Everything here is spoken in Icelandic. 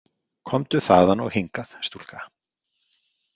Komdu þaðan og hingað, stúlka.